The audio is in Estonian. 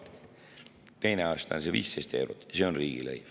Teine aasta see 15 eurot, see on riigilõiv.